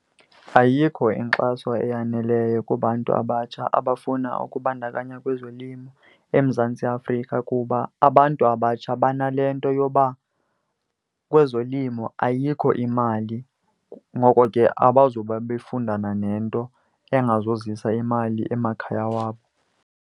Ayikho inkxaso eyaneleyo kubantu abatsha abafuna ukubandakanya kwezolimo eMzantsi Afrika. Kuba abantu abatsha banale nto yoba kwezolimo ayikho imali, ngoko ke abazuba befundana nento engazozisa imali emakhaya wabo.